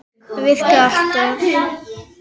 Það virkar alltaf.